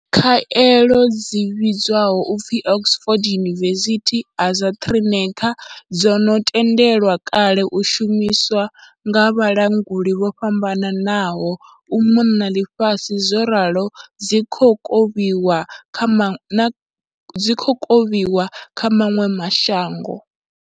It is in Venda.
Khaelo dzi vhidzwaho u pfi Oxford University-AstraZe neca dzo no tendelwa kale u shumiswa nga vhalanguli vho fhambananaho u mona na ḽifhasi zworalo dzi khou kovhiwa kha maṅwe ma shango.